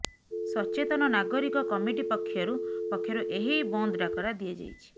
ସଚେତନ ନାଗରିକ କମିଟି ପକ୍ଷରୁ ପକ୍ଷରୁ ଏହି ବନ୍ଦ ଡ଼ାକରା ଦିଆଯାଇଛି